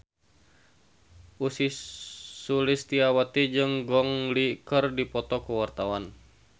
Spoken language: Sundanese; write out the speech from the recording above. Ussy Sulistyawati jeung Gong Li keur dipoto ku wartawan